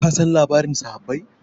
kasan labarin sahabbai